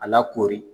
A lakoori